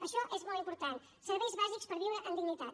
això és molt important serveis bàsics per viure amb dignitat